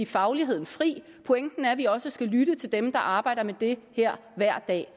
fagligheden fri pointen er at vi også skal lytte til dem der arbejder med det her hver dag